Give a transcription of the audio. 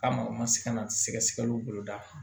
K'a ma u ma se ka na sɛgɛsɛgɛliw boloda